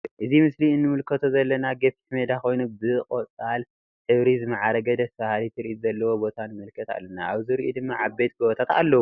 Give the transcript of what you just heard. ኣብ ምስሊ ንምልከቶ ዘለና ገፊሕ ሜዳ ኮይኑ ብ ቆጻል ሕብሪ ዝማዕረገ ደስ በሃሊ ትርኢት ዘለዎ ቦታ ንምልከት ኣለና። ኣብ ዙሪኡ ድማ ዓበይቲ ጎቦታት ኣለዉ።